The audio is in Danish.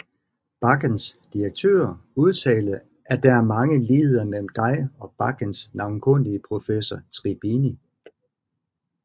Bakkens direktør udtalte at Der er mange ligheder mellem dig og Bakkens navnkundige professor Tribini